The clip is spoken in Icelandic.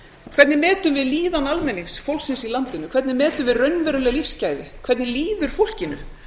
hvernig metum við líðan almennings fólksins í landinu hvernig metum við raunveruleg lífsgæði hvernig líður fólkinu